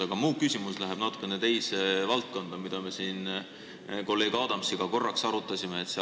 Aga mu küsimus läheb natukene teise valdkonda, mida me siin kolleeg Adamsiga veidi arutasime.